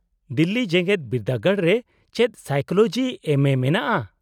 -ᱫᱤᱞᱞᱤ ᱡᱮᱜᱮᱫ ᱵᱤᱨᱫᱟᱹᱜᱟᱲ ᱨᱮ ᱪᱮᱫ ᱥᱟᱭᱠᱳᱞᱚᱡᱤ ᱮᱢᱹ ᱮ ᱢᱮᱱᱟᱜᱼᱟ ?